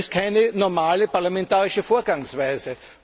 Das ist keine normale parlamentarische Vorgangsweise!